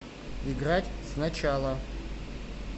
играть сначала